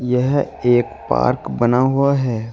यह एक पार्क बना हुआ है।